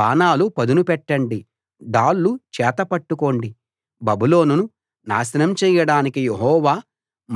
బాణాలు పదును పెట్టండి డాళ్ళు చేత పట్టుకోండి బబులోనును నాశనం చేయడానికి యెహోవా